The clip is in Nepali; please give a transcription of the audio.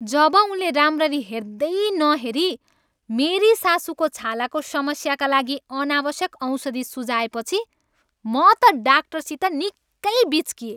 जब उनले राम्ररी हेर्दै नहेरी मेरी सासुको छालाको समस्याका लागि अनावश्यक औषधि सुझाएपछी म त डाक्टरसित निकै बिच्किएँ।